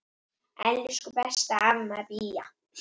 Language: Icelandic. Elsku besta amma Bía.